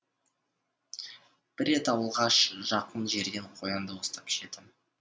бір рет ауылға жақын жерден қоян да ұстап жеді